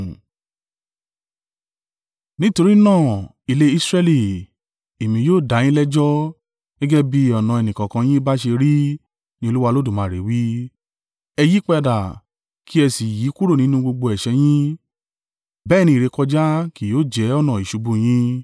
“Nítorí náà, ilé Israẹli, èmi yóò da yín lẹ́jọ́, gẹ́gẹ́ bí ọ̀nà ẹnìkọ̀ọ̀kan yín bá ṣe rí ni Olúwa Olódùmarè wí. Ẹ yípadà! Kí ẹ si yí kúrò nínú gbogbo ẹ̀ṣẹ̀ yín, bẹ́ẹ̀ ni ìrékọjá kì yóò jẹ́ ọ̀nà ìṣubú yín.